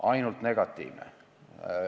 Ainult negatiivne.